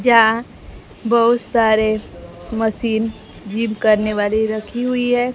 जा बहुत सारे मशीन जिम करने वाली रखी हुई है।